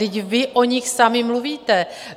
Vždyť vy o nich sami mluvíte.